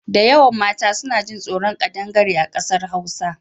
Dayawan mata suna jin tsoron ƙadangare a ƙasar Hausa.